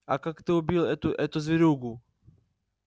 а как ты убил эту эту зверюгу